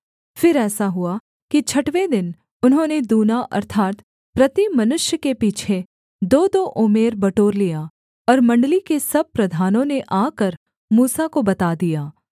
फिर ऐसा हुआ कि छठवें दिन उन्होंने दूना अर्थात् प्रति मनुष्य के पीछे दोदो ओमेर बटोर लिया और मण्डली के सब प्रधानों ने आकर मूसा को बता दिया